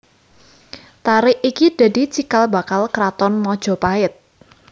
Tarik iki dadi cikal bakal kraton Majapahit